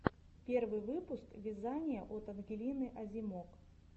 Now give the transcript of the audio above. первый выпуск вязание от ангелины озимок